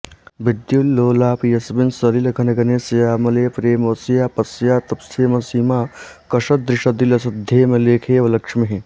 विद्युल्लोलापि यस्मिन् सलिलघनघने श्यामले प्रेमवश्या पश्याप्तस्थेमसीमाकषदृषदि लसद्धेमलेखेव लक्ष्मीः